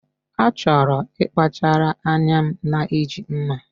A chọrọ nkpachara anya na iji mma